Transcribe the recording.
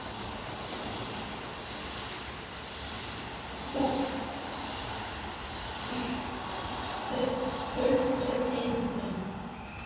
Eða hélt fólk að hann væri ættaður úr hulduheimum?